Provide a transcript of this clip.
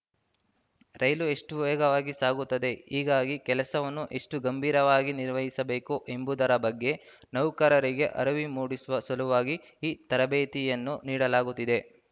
ರೈಲು ಎಷ್ಟು ವೇಗವಾಗಿ ಸಾಗುತ್ತದೆ ಹೀಗಾಗಿ ಕೆಲಸವನ್ನು ಎಷ್ಟುಗಂಭೀರವಾಗಿ ನಿರ್ವಹಿಸಬೇಕು ಎಂಬುದರ ಬಗ್ಗೆ ನೌಕರರಿಗೆ ಅರಿವು ಮೂಡಿಸುವ ಸಲುವಾಗಿ ಈ ತರಬೇತಿಯನ್ನು ನೀಡಲಾಗುತ್ತಿದೆ